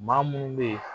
Maa munnu be yen